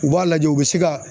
U b'a lajɛ u bɛ se ka